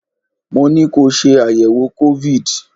Mo ní ko ṣe àyẹ̀wò COVID!